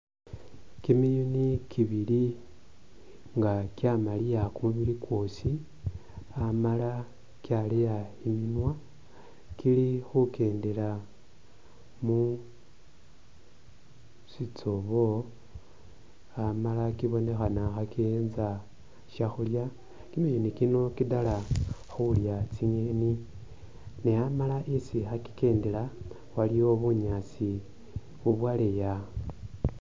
Kimiyuni kibili nga kyamaliya kumubili kwosi ,amala kyaleya imunwa kili khukendela musitsobo ,amala kibonekhana khakiyenza shakhulya. kimiyuni kino kidala khulya tsi'ngeni ne amala isi khakikendela waliyo bunyaasi bubwaleya